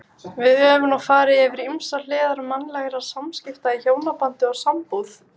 Við höfum nú farið yfir ýmsar hliðar mannlegra samskipta í hjónabandi og sambúð.